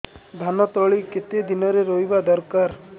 ଧାନ ତଳି କେତେ ଦିନରେ ରୋଈବା ଦରକାର